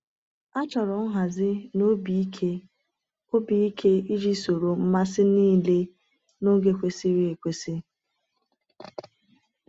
A chọrọ nhazi na obi ike obi ike iji soro mmasị niile n’oge kwesịrị ekwesị.